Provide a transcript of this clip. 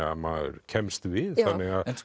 að maður kemst við þannig að